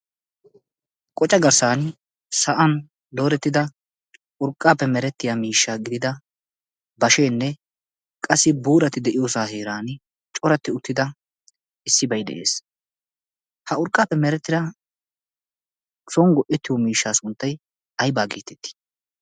qoca garssan sa'an loorettida urqqaappe merettiya miishsha gidida basheenne qassi buurati de'iyoosaa heeran coratti uttida issi bai de'ees ha urqqaappe merettida songgo ettiyo miishshaa sunttai aibaa giitettii?